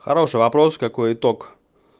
хороший вопрос какой итог